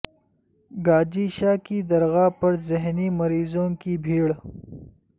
گاجی شاہ کی درگاہ پر ذہنی مریضوں کی بھیڑ